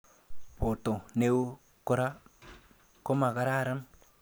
Borto neo kora komakararan